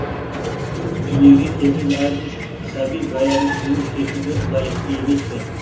дүниеге келген әрбір сәби баянды ғұмыр кешуге лайықты емес пе